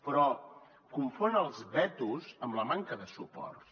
però confon els vetos amb la manca de suports